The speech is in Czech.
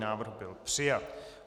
Návrh byl přijat.